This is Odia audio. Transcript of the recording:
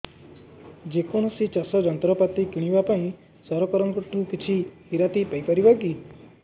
ଯେ କୌଣସି ଚାଷ ଯନ୍ତ୍ରପାତି କିଣିବା ପାଇଁ ସରକାରଙ୍କ ଠାରୁ କିଛି ରିହାତି ପାଇ ପାରିବା କି